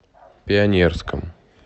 пионерском